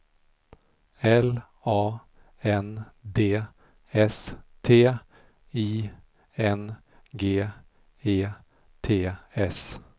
L A N D S T I N G E T S